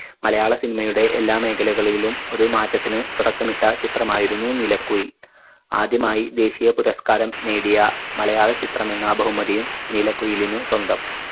മലയാള cinema യുടെ എല്ലാ മേഖലകളിലും ഒരു മാറ്റത്തിന് തുടക്കമിട്ട ചിത്രമായിരുന്നു നീലക്കുയിൽ ആദ്യമായി ദേശീയ പുരസ്‌കാരം നേടിയ മലയാള ചിത്രമെന്ന ബഹുമതിയും നീലക്കുയിലിനു സ്വന്തം